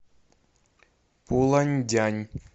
пуланьдянь